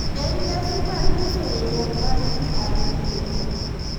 En nyasi mar nyiso riwruok mar ji ariyo,